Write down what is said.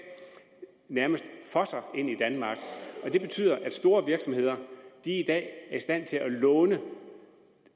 nærmest fosser ind i danmark det betyder at store virksomheder i dag er i stand til at låne